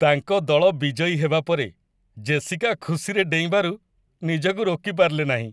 ତାଙ୍କ ଦଳ ବିଜୟୀ ହେବା ପରେ ଜେସିକା ଖୁସିରେ ଡେଇଁବାରୁ ନିଜକୁ ରୋକି ପାରିଲେ ନାହିଁ।